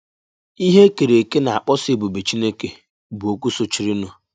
“Ihe E Kèrè Èkè Na-akpọsa Èbùbè Chínèké” bụ okwu sὸchìrìnụ.